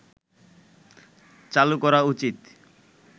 চালু করা উচিত